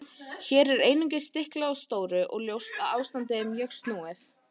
Hér er einungis stiklað á stóru og ljóst að ástandið er mjög snúið.